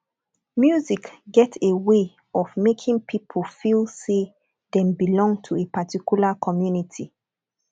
music get a way of making pipo feel say dem belong to a particular community